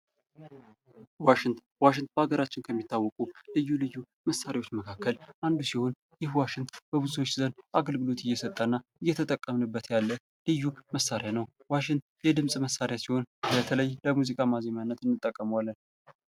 ዋሽንት ፤ ዋሽንት በሃገራችን ከሚታወቁ ልዩ ልዩ መሳሪያዎች መካከል አንዱ ሲሆን ይህ ዋሽንት በብዙዎች ዘንድ አገልግሎት እየሰጠና እየተጠቀምንበት ያለ መሳሪያ ነው። ዋሽንት የድምጽ መሳሪያ ሲሆን በተለይ ለሙዚቃ ማዘሚያነት እንጠቀመዋለን።